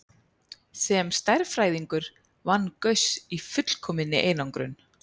Sem stærðfræðingur vann Gauss í fullkominni einangrun.